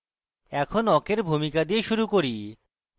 এখন awk awk ভূমিকা দিয়ে শুরু করি